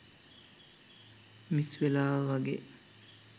miss වෙලා වගේ